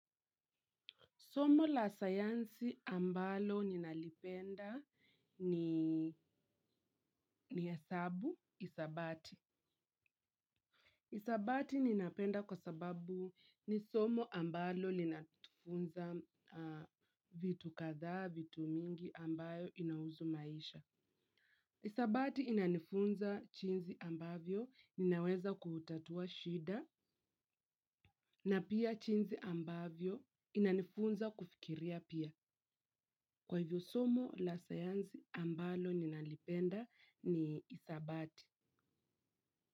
Somo la sayansi ambalo ninalipenda ni ni hesabu, hisabati. Hisabati ninapenda kwa sababu ni somo ambalo linatufunza vitu kadhaa, vitu mingi ambayo inahusu maisha. Hisabati inanifunza jinsi ambavyo ninaweza kuutatua shida na pia jinsi ambavyo inanifunza kufikiria pia. Kwa hivyo somo la sayansi ambalo ninalipenda ni hisabati.